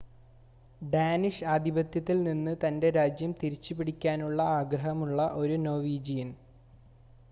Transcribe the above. Danish ആധിപത്യത്തിൽ നിന്ന് തൻ്റെ രാജ്യം തിരിച്ചുപിടിക്കാനുള്ള ആഗ്രഹമുള്ള ഒരു നോർവീജിയൻ